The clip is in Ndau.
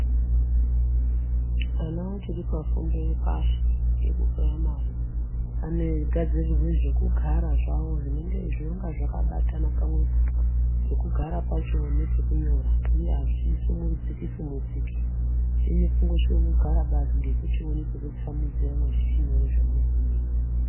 Ana achiri pafundo yepashi yekupuraimari anogadzirirwe zvokugara zvawo zvinonga zvakabatana pamwepo, pekugara pacho nepekunyora, uye hazvisumudziki sumudziki. Chenyu kungosviko kugara badzi ngekuchione pekutsamhidzira mwechichinyore zvemunenge mweinyora.